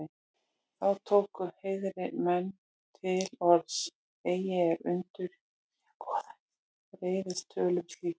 Þá tóku heiðnir menn til orðs: Eigi er undur í, að goðin reiðist tölum slíkum